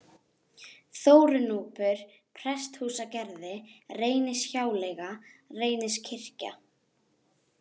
Þórunúpur, Presthúsagerði, Reynishjáleiga, Reyniskirkja